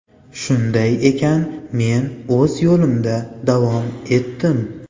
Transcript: Shunday ekan men o‘z yo‘limda davom etdim.